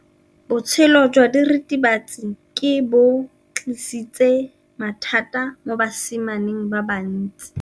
Botshelo jwa diritibatsi ke bo tlisitse mathata mo basimaneng ba bantsi.